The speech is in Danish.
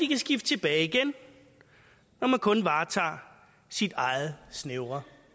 kan skifte tilbage igen når man kun varetager sit eget snævre